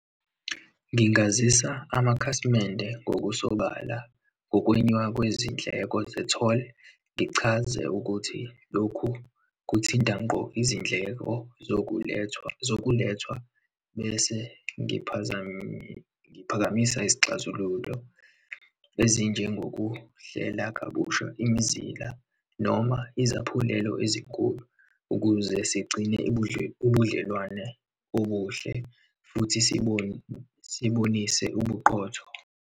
Ngingazisa amakhasimende ngokusobala, ngokwenyuka kwezindleko ze-toll. Ngichaze ukuthi lokhu kuthinta ngqo izindleko zokulethwa zokulethwa, bese ngiphakamisa izixazululo, ezinjengokuhlela kabusha imizila noma izaphulelo ezinkulu ukuze sigcine ubudlelwane obuhle futhi sibonise ubuqotho.